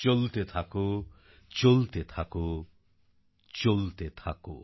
চলতে থাকো চলতে থাকো চলতে থাকো